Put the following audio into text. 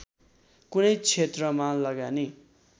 कुनै क्षेत्रमा लगानी